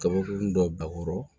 Kabakurun dɔ bakuru